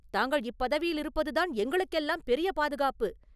தாங்கள் இப்பதவியிலிருப்பதுதான் எங்களுக்கெல்லாம் பெரிய பாதுகாப்பு.